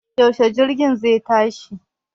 Yaushe jirgin zai tashi